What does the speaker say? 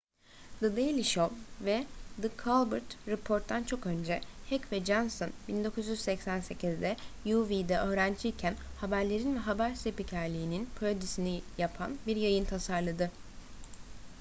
the daily show ve the colbert report'tan çok önce heck ve johnson 1988'de uw'de öğrenciyken haberlerin ve haber spikerliğinin parodisini yapan bir yayın tasarladı